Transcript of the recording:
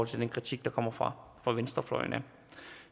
til den kritik der kommer fra fra venstrefløjen